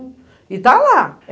E tá lá!